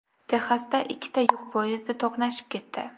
Texasda ikkita yuk poyezdi to‘qnashib ketdi.